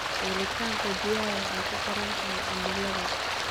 Helitaanka biyaha waxay ku xiran tahay cimilada.